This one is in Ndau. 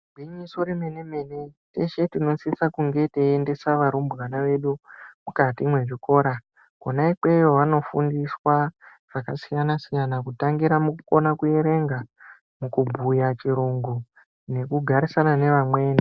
Igwinyiso remene-mene tese tinosisa teiendesa narumbwana vedu mukati mwezvikora. Kona ikweyo vanofundiswa zvakasiyana-siyana kutangira mukukona kuverenga, mukubhuya chirungu nekugarisana nevamweni.